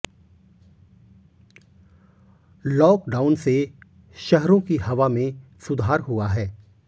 lockdown से शहरों की हवा में सुधार हुआ है